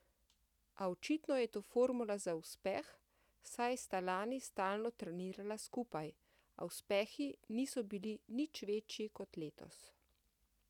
A očitno je to formula za uspeh, saj sta lani stalno trenirala skupaj, a uspehi niso bili nič večji kot letos.